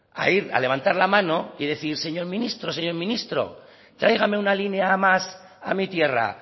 a ir a levantar la mano y decir señor ministro señor ministro tráigame una línea más a mi tierra